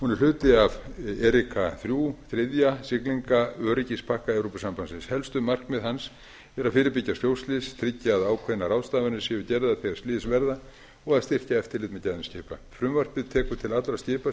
hún er hluti af erika þrjú þriðja siglingaöryggispakka evrópusambandsins helstu markmið hans eru að fyrirbyggja sjóslys tryggja að ákveðnar ráðstafanir séu gerðar þegar slys verða og að styrkja eftirlit með gæðum skipa frumvarpið tekur til allra skipa